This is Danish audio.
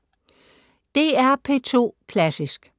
DR P2 Klassisk